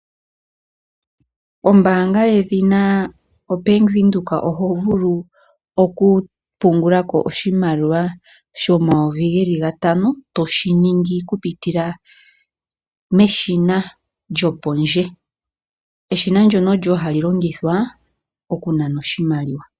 Ombaanga yedhina o Bank Windhoek oho vulu oku pungula ko oshimaliwa sho N$ 5 000, to shi ningi kupitila meshina lyopondje. Eshina ndjono olyo wo ha li longithwa oku nana oshimaliwa.